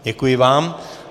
Děkuji vám.